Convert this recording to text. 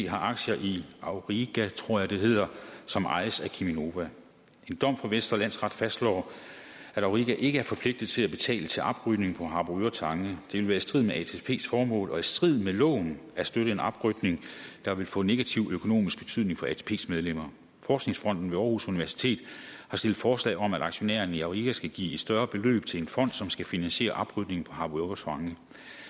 har aktier i auriga tror jeg det hedder som ejes af cheminova en dom fra vestre landsret fastslår at auriga ikke er forpligtet til at betale til oprydningen på harboøre tange og vil være i strid med atps formål og i strid med loven at støtte en oprydning der vil få negativ økonomisk betydning for atps medlemmer forskningsfonden ved aarhus universitet har stillet forslag om at aktionærerne i auriga skal give et større beløb til en fond som skal finansiere oprydningen på harboøre tange